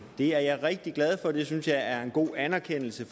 det er jeg rigtig glad for det synes jeg er en god anerkendelse